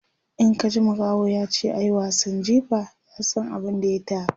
In ka ji makaho yace ayi wasan jifa, ya San abun da ya taka